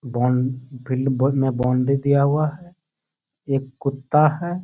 बौन field में बहुत में बाउंड्री दिया हुआ है। एक कुत्ता है।